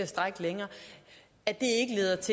strække længere